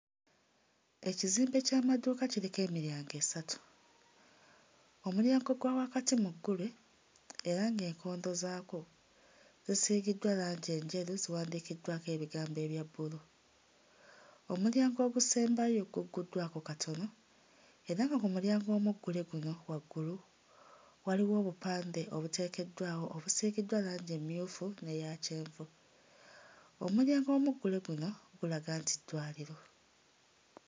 Ekizimbe ky'amaduuka kiriko emiryango esatu. Omulyango gwa wakati muggule era ng'enkondo zaagwo zisiigiddwa langi enjeru, ziwandiikiddwako ebigambo ebya bbulu. Omulyango ogusembayo gugguddwako katono era nga ku mulyango omuggule guno waggulu waliwo obupande obuteekeddwawo obusiigiddwa langi emmyufu n'eya kyenvu. Omulyango omuggule guno gulaga nti ddwaliro.